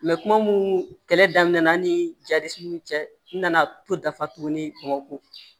kuma mun kɛlɛ daminɛ na an ni cɛ n nana to dafa tuguni bamako